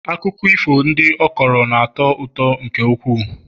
akụkọ ifo ndị ọ kọrọ na-atọ ụtọ nke ukwuu